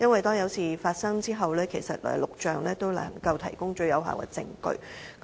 當有事發生的時候，錄像能夠提供最有力的證據。